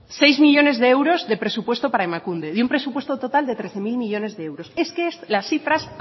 seis millónes de euros de presupuesto para emakunde de un presupuesto total de trece mil millónes de euros es que las cifras